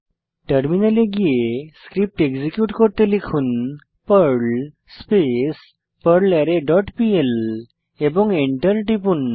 টার্মিনালে গিয়ে script execute করতে লিখুন পার্ল স্পেস পারলারে ডট পিএল এবং এন্টার টিপুন